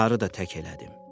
Naharı da tək elədim.